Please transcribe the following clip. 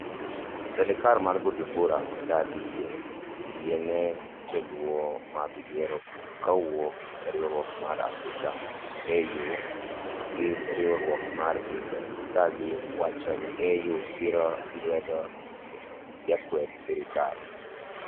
Serikal ma Bujumbura odagi yiene joluwo mag yiero kowuok riwruok mar Africa AU gi riwruok mar pinje ka gi wacho ni AU siro lwedo jokwed serikal.